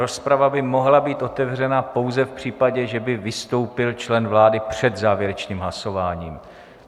Rozprava by mohla být otevřena pouze v případě, že by vystoupil člen vlády před závěrečným hlasováním.